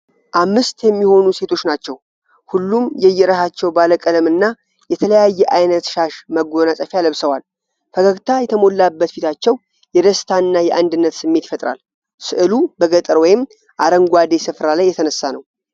ምስት የሚሆኑ ሴቶች ናቸው። ሁሉም የየራሳቸውን ባለቀለም እና የተለያየ ዓይነት ሻሽ/መጎናጸፊያ ለብሰዋል። ፈገግታ የተሞላበት ፊታቸው የደስታ እና የአንድነት ስሜት ይፈጥራል። ሥዕሉ በገጠር ወይም አረንጓዴ ስፍራ ላይ የተነሳ ነው።